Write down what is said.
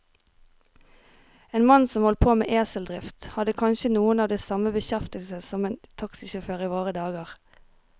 En mann som holdt på med eseldrift, hadde kanskje noe av den samme beskjeftigelse som en taxisjåfør i våre dager.